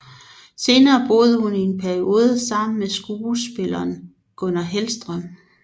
Senere boede hun i en periode sammen med skuespilleren Gunnar Hellström